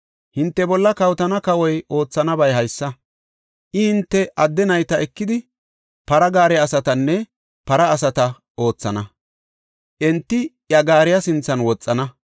“Hinte bolla kawotana kawoy oothanabay haysa; I hinte adde nayta ekidi, para gaare asatanne para asata oothana; enti iya gaariya sinthan woxana.